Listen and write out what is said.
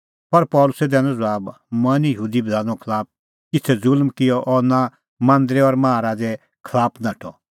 पर पल़सी दैनअ ज़बाब मंऐं निं यहूदी बधाने खलाफ किछ़ै ज़ुल्म किअ और नां मांदरे और माहा राज़े खलाफ नाठअ